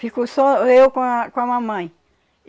Ficou só eu com a com a mamãe.